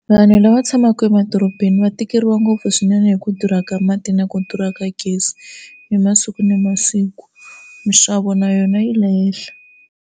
Vanhu lava tshamaka emadorobeni va tikeriwa ngopfu swinene hi ku durha ka mati na ku durha ka gezi hi masiku na masiku mixavo na yona yi le henhla.